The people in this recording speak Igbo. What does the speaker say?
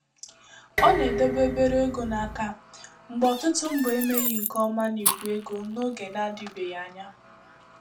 Ọ na-edobe obere ego n'aka mgbe ọtụtụ mbọ emeghị nke ọma na igwe ego n'oge na-adịbeghị anya.